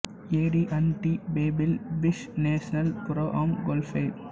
AD and T Pebble Beach national pro am golf